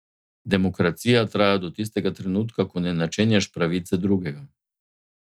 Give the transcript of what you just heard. Demokracija traja do tistega trenutka, ko ne načenjaš pravice drugega.